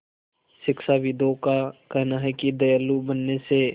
शिक्षाविदों का कहना है कि दयालु बनने से